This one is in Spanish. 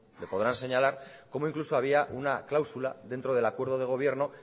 le podrán señalar cómo incluso había una cláusula dentro del acuerdo de gobierno